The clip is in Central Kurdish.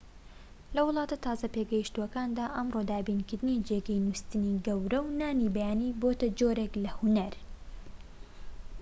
لە وڵاتە تازە پێگەشتووەکاندا ئەمڕۆ دابینکردنی جێگەی نوستنی گەورە و نانی بەیانی بۆتە جۆرێك لە هونەر